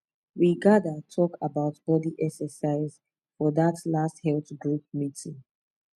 we gather talk about body exercise for that last health group meeting